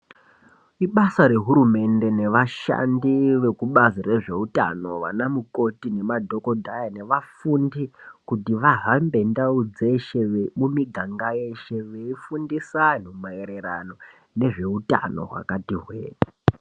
Ibasa rehurumende newashandi wekubazi rezveutano wana kukoti, nemadhokodhaya newafundi kuti wahambe ndau dzeshe nemumiganga yeshe weifundisa wanhu maererano nezveutano wakati hwee.